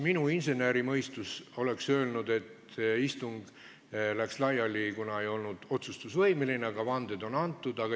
Minu insenerimõistus oleks öelnud, et istung läks laiali, kuna ei olnud otsustusvõimeline, aga vanded on antud.